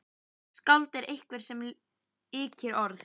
Skáld er einhver sem yrkir ljóð.